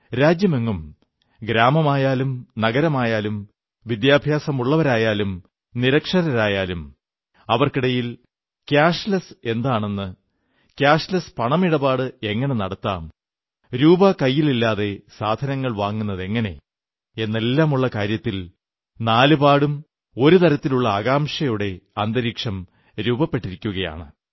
രാജ്യമെങ്ങും ഗ്രാമമായാലും നഗരമായാലും വിദ്യാഭ്യാസമുള്ളവരായാലും നിരക്ഷരരായാലും അവർക്കിടയിൽ ക്യാഷ്ലെസെന്നാലെന്താണ് ക്യാഷ്ലെസ് പണമിടപാട് എങ്ങനെ നടത്താം രൂപാ കൈയിലില്ലാതെ സാധനങ്ങൾ വാങ്ങുന്നതെങ്ങനെ എന്നെല്ലാമുള്ള കാര്യത്തിൽ നാലുപാടും ഒരുതരത്തിലുള്ള ആകാംക്ഷയുടെ അന്തരീക്ഷം രൂപപ്പെട്ടിരിക്കയാണ്